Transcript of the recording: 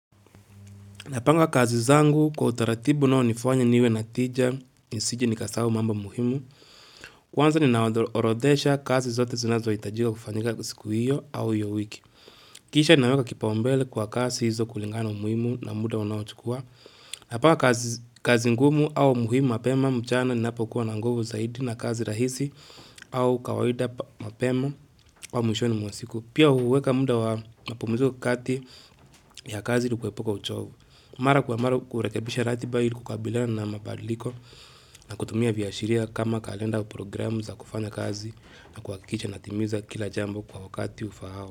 Napanga kazi zangu kwa utaratibu unaonifuanya niwe na tija nisije ni nikasahau mambo muhimu. Kwanza ni naorodhesha kazi zote zinazohitajika kufanyika siku hiyo au hiyo wiki. Kisha ni naweka kipao mbele kwa kazi hizo kulingana muhimu na muda wanao chukua. Napanga kazi ngumu au muhimu mapema mchana ni napo kuwa nangovu zaidi na kazi rahisi au kawaida mapema au mwisho ni mwasiku. Pia huweka muda wapumizu kati ya kazi ilikuwepoka uchovu. Mara kwa mara kurekebisha ratiba hili kukabila na mabaliko na kutumia viashiria kama kalenda u programu za kufanya kazi na kwa kikicha natimiza kila jambo kwa wakati ufahao.